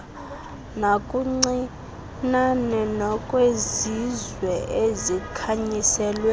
nakancinane kowezizwe ezikhanyiselweyo